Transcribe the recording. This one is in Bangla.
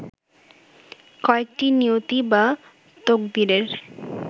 কয়েকটি নিয়তি বা তকদিরের